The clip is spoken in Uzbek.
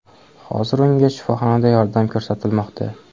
Hozir unga shifoxonada yordam ko‘rsatilmoqda.